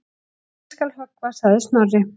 Eigi skal höggva sagði Snorri.